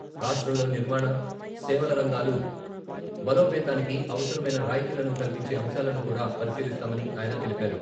రాష్ట్రంలో నిర్మాణ, సేవల రంగాలు బలోపేతానికి అవసరమైన రాయితీలను కల్పించే అంశాలను కూడా పరిశీలిస్తామని ఆయన తెలిపారు.